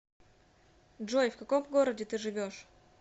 джой в каком городе ты живешь